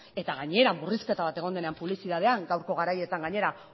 eta gainera murrizketa bat egon denean publizitatean gaurko garaietan gainera